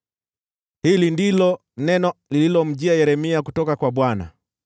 Hili ndilo neno lililomjia Yeremia kutoka kwa Bwana :